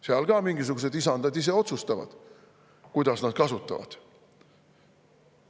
Seal ka mingisugused isandad ise otsustavad, kuidas nad raha kasutavad.